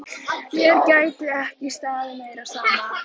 Mér gæti ekki staðið meira á sama.